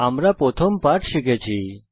আমরা আমাদের প্রথম টাইপিং পাঠ শিখেছি